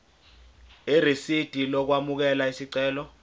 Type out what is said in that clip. irisidi lokwamukela isicelo